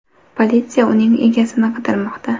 Politsiya uning egasini qidirmoqda.